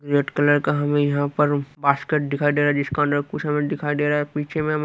red colour का हमें यहाँ पर बास्केट दिखाई दे रहा है जिसका अंडर कुछ हमें दिखाई दे रहा है पीछे में हमें--